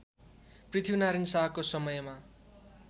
पृथ्वीनारायण शाहको समयमा